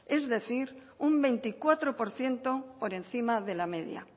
es decir un veinticuatro por ciento por encima de la media